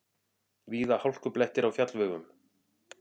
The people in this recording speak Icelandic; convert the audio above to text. Víða hálkublettir á fjallvegum